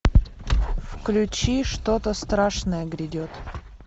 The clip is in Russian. включи что то страшное грядет